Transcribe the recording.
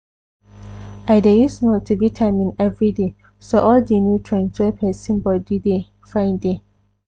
i dey use multivitamin everyday so all di nutrients wey persin body dey find dey.